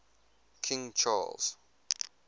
king charles